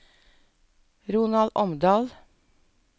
Ronald Omdal